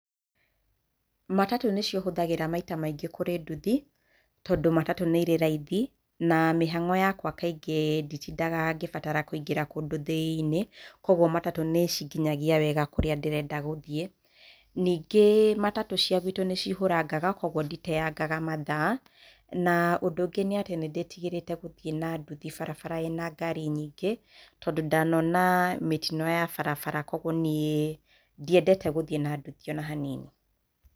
Matatũ nĩcio hũthagĩra maita maingĩ kurĩ nduthi, tondũ matatu nĩ ĩrĩ raithi, na mĩhang'o yakwa kaingĩ nditindaga kaingĩ ngĩbatara kũingĩra kũndũ thĩini. Koguo matatũ nĩ cinginyagia wega kũrĩa nyendaga gũthiĩ. Kaingĩ matatũ nĩ cihũrangaga koguo nditeyangaga matha na ũndũ ũngĩ nĩ ndĩtigĩrĩte gũthiĩ na ndũthi bara ĩna ngari nyingĩ, tondũ ndanona mĩtino ya barabara, koguo niĩ ndiendete gũthiĩ na nduthi ona hanini.